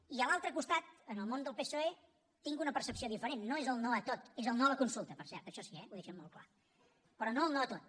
i a l’altre costat en el món del psoe tinc una percepció diferent no és el no a tot és el no a la consulta per cert això sí eh ho deixen molt clar però no el no a tot